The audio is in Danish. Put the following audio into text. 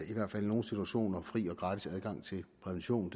i hvert fald i nogle situationer fri og gratis adgang til prævention